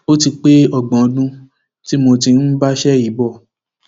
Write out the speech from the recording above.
ó ti pé ọgbọn ọdún tí mo ti ń bá iṣẹ yìí bọ